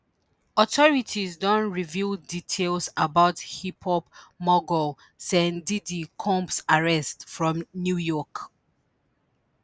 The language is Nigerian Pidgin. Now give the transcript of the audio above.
authorities don reveal details about hiphop mogul Sen 'diddy' Combs arrest for new york